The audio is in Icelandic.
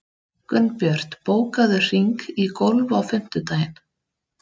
Gunnbjört, bókaðu hring í golf á fimmtudaginn.